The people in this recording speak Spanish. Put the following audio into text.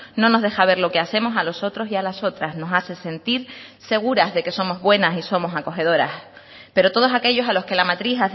no nos deja ver lo que hacemos a los otros y a las otras nos hace sentir seguras de que somos buenas y somos acogedoras pero todos aquellos a los que la matriz